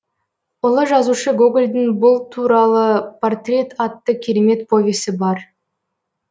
ұлы жазушы гогольдің бұл туралы портрет атты керемет повесі бар